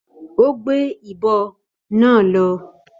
Ó gbé ìbo náà lọ